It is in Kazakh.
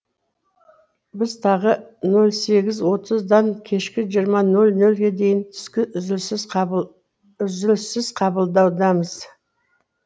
біз тағы нөл сегіз отыздан кешкі жиырма нөл нөлге дейін түскі үзіліссіз қабылдаудамыз